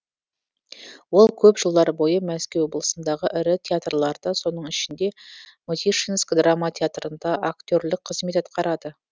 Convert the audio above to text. ол көп жылдар бойы мәскеу облысындағы ірі театрларда соның ішінде мытишинск драма театрында актерлік қызмет атқарады